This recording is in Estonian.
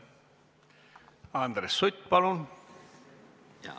Andres Sutt, palun!